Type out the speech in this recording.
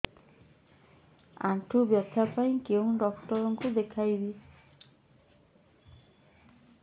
ଆଣ୍ଠୁ ବ୍ୟଥା ପାଇଁ କୋଉ ଡକ୍ଟର ଙ୍କୁ ଦେଖେଇବି